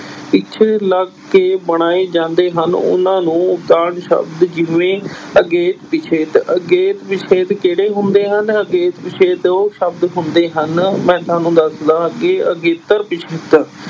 ਪਿੱਛੇ ਲੱਗ ਕੇ ਬਣਾਏ ਜਾਂਦੇ ਹਨ, ਉਨ੍ਹਾਂ ਨੂੰ ਉਦਾਹਰਨ ਸ਼ਬਦ ਜਿਵੇਂ ਅਗੇਤ, ਪਿਛੇਤ, ਅਗੇਤ ਪਿਛੇਤ ਕਿਹੜੇ ਹੁੰਦੇ ਹਨ, ਅਗੇਤ ਪਿਛੇਤ ਉਹ ਸ਼ਬਦ ਹੁੰਦੇ ਹਨ ਮੈਂ ਤੁਹਾਨੂੰ ਦੱਸਦਾਂ ਅੱਗੇ ਅਗੇਤਰ ਪਿੱਛੇਤਰ